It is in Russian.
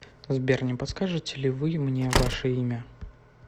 сбер не подскажете ли вы мне ваше имя